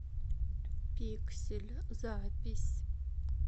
пиксель запись